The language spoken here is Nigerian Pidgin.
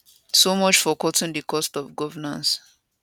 so much for cutting di cost of governance